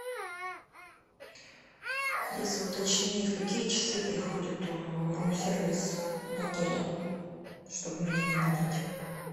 алиса уточни в какие часы приходит рум сервис в отеле чтоб меня не будить